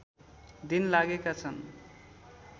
दिन लागेका छन्